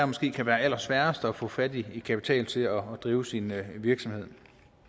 måske kan være allersværest at få fat i kapital til at drive sin virksomhed